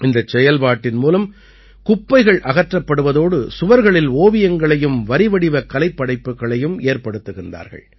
இந்தச் செயல்பாட்டின் மூலம் குப்பைகள் அகற்றப்படுவதோடு சுவர்களில் ஓவியங்களையும் வரிவடிவக் கலைப்படைப்புக்களையும் ஏற்படுத்துகிறார்கள்